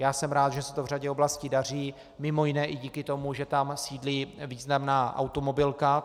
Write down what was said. Já jsem rád, že se to v řadě oblastí daří, mimo jiné i díky tomu, že tam sídlí významná automobilka.